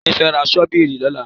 Ìyá fi ra ṣọ́bìrì lọ́la.